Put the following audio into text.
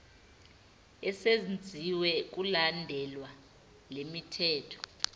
esenziwe kulandelwa lemithetho